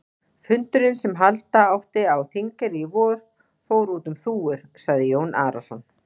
Fundurinn sem halda átti á Þingeyrum í vor, fór út um þúfur, sagði Jón Arason.